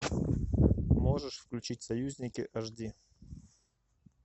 можешь включить союзники аш ди